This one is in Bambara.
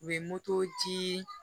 U ye moto dii